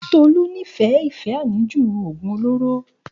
Òògùn olóró ni Tolu.